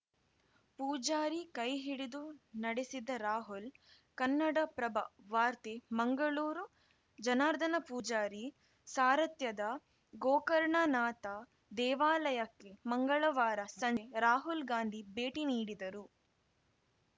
ಪೂಜಾರಿ ಕೈಹಿಡಿದು ನಡೆಸಿದ ರಾಹುಲ್‌ ಕನ್ನಡಪ್ರಭ ವಾರ್ತೆ ಮಂಗಳೂರು ಜನಾರ್ದನ ಪೂಜಾರಿ ಸಾರಥ್ಯದ ಗೋಕರ್ಣನಾಥ ದೇವಾಲಯಕ್ಕೆ ಮಂಗಳವಾರ ಸಂಜೆ ರಾಹುಲ್‌ ಗಾಂಧಿ ಭೇಟಿ ನೀಡಿದರು